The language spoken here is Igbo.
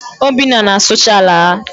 Obinna na-asụcha ala ha.